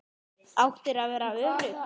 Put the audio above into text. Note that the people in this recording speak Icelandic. Áttirðu að vera örugg?